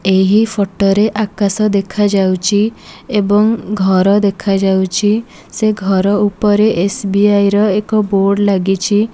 ଏହି ଫଟ ରେ ଆକାଶ ଦେଖାଯାଉଚି ଏବଂ ଘର ଦେଖାଯାଉଛି ସେ ଘର ଉପରେ ଏସ_ବି_ଆଇ ର ଏକ ବୋର୍ଡ଼ ଲାଗିଛି।